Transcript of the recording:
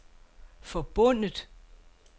forbundet